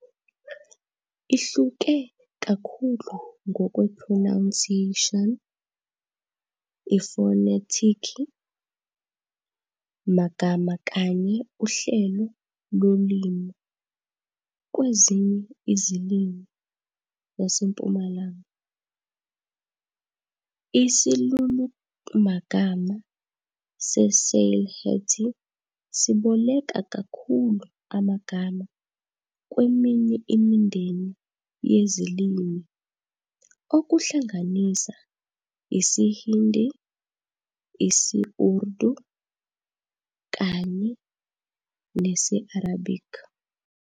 Ihluke kakhulu ngokwe-pronunciation, ifonetiki, magama kanye uhlelo lolimi kwezinye izilimi zaseMpumalanga. Isilulumagama se-Sylheti siboleka kakhulu amagama kweminye imindeni yezilimi, okuhlanganisa isi-Hindi, isi-Urdu kanye nesi-Arabic.